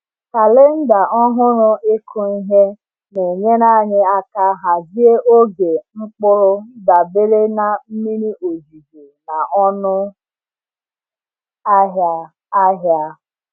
Kalenda ọhụrụ ịkụ ihe na-enyere anyị aka hazie oge mkpụrụ dabere na mmiri ozuzo na ọnụ ahịa ahịa.